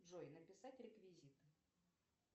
джой написать реквизиты